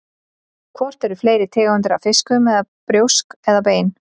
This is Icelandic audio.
Hvort eru fleiri tegundir af fiskum með brjósk eða bein?